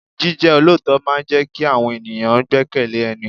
Jíjẹ́ olóòótọ́ máa ń jẹ kí àwọn ènìyàn gbekele ẹni.